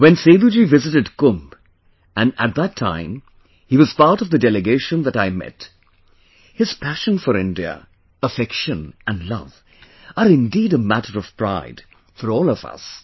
When Seduji visited Kumbh and at that time he was part of the delegation that I met, his passion for India, affection and love are indeed a matter of pride for all of us